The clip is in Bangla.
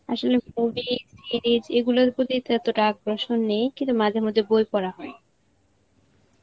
আসলে movie, series এগুলার প্রতি তো এতটা আকর্ষণ নেই কিন্তু মাঝে মাঝে বই পড়া হয়.